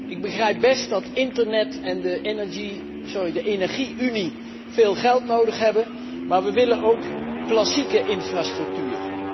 Ik begrijp best dat internet en de energie unie veel geld nodig hebben, maar wij willen ook klassieke infrastructuur.